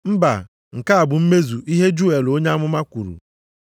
Mba, nke a bụ mmezu ihe Juel onye amụma kwuru,